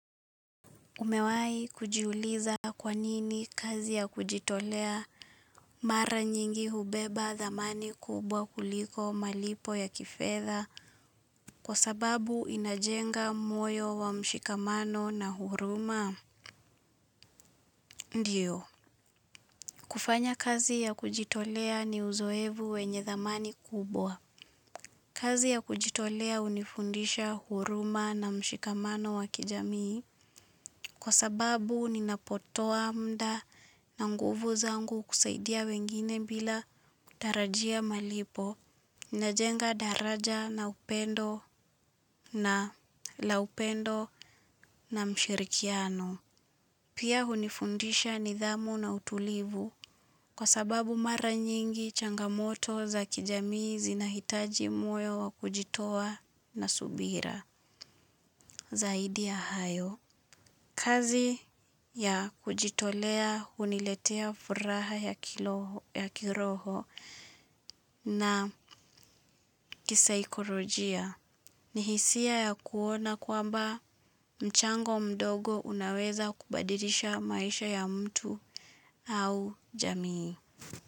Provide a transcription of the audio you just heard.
Umewai kujiuliza kwanini kazi ya kujitolea mara nyingi hubeba dhamani kubwa kuliko malipo ya kifedha kwa sababu inajenga moyo wa mshikamano na huruma ndio. Kufanya kazi ya kujitolea ni uzoevu wenye dhamani kubwa. Kazi ya kujitolea hunifundisha huruma na mshikamano wa kijamii, kwa sababu ninapotoa muda na nguvu zangu kusaidia wengine bila kutarajia malipo, ninajenga daraja na upendo na laupendo na mshirikiano. Pia hunifundisha nidhamu na utulivu kwa sababu mara nyingi changamoto za kijamii zinahitaji moyo wa kujitoa na subira zaidi ya hayo. Kazi ya kujitolea huniletea furaha ya kiroho na kisaikorojia ni hisia ya kuona kwamba mchango mdogo unaweza kubadirisha maisha ya mtu au jamii.